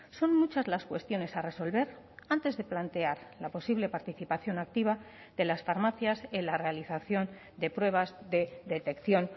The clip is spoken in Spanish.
son muchas las cuestiones a resolver antes de plantear la posible participación activa de las farmacias en la realización de pruebas de detección